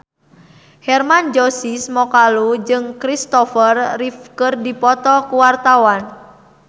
Hermann Josis Mokalu jeung Kristopher Reeve keur dipoto ku wartawan